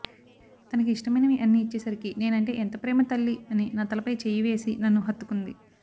తనకి ఇష్టమైనవి అన్ని ఇచ్చేసరికి నేనంటే ఎంత ప్రేమ తల్లి అని నా తలపై చెయ్యి వేసి నన్ను హత్తుకుంది